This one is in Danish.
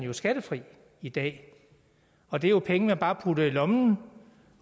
er skattefri i dag og det er jo penge man bare putter i lommen